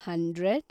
hundred